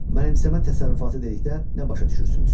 Mənimsəmə təsərrüfatı dedikdə nə başa düşürsünüz?